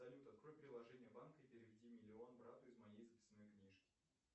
салют открой приложение банка и переведи миллион брату из моей записной книжки